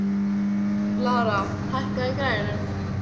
Lára, hækkaðu í græjunum.